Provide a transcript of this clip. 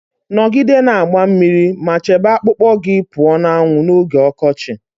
Nọgide na-agba mmiri ma chebe akpụkpọ gị pụọ na anwụ n'oge ọkọchị